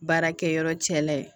Baarakɛ yɔrɔ cɛ la ye